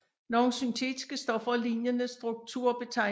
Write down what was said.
Nogle syntetiske stoffer af lignende struktur betegnes også som alkaloider